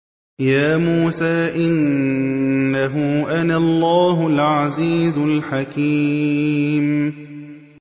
يَا مُوسَىٰ إِنَّهُ أَنَا اللَّهُ الْعَزِيزُ الْحَكِيمُ